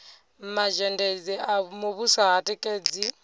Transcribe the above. mazhendedzi a muvhuso ha tikedzi